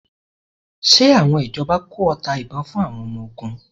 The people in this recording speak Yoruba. Ṣe àwọn ìjọba kó ọta ìbon fún àwọn ọmọ ogun?